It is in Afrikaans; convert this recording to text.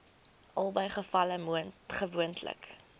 albei gevalle gewoonlik